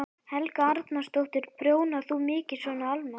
Helga Arnardóttir: Prjónar þú mikið svona almennt?